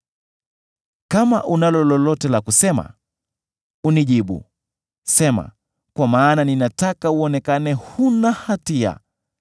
Kama unalo lolote la kusema, unijibu; sema, kwa maana ninataka uonekane huna hatia.